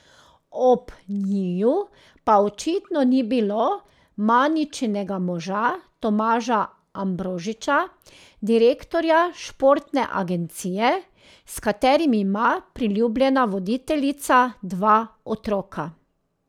Ob njiju pa očitno ni bilo Maničinega moža Tomaža Ambrožiča, direktorja športne agencije, s katerim ima priljubljena voditeljica dva otroka.